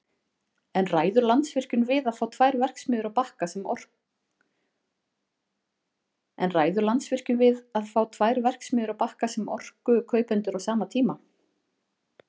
En ræður Landsvirkjun við að fá tvær verksmiðjur á Bakka sem orkukaupendur á sama tíma?